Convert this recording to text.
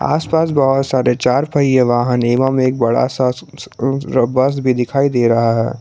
आसपास बहुत सारे चार पहिया वाहन एवं एक बड़ा सा अह बस भी दिखाई दे रहा है।